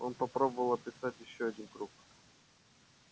он попробовал описать ещё один круг